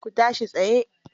Ku tashi tsaye.